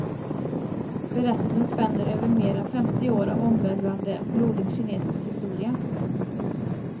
Berättelsen spänner över mer än femtio år av omvälvande, blodig kinesisk historia.